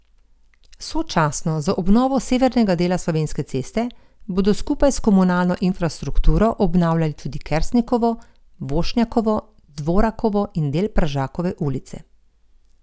Sočasno z obnovo severnega dela Slovenske ceste bodo skupaj s komunalno infrastrukturo obnavljali tudi Kersnikovo, Vošnjakovo, Dvorakovo in del Pražakove ulice.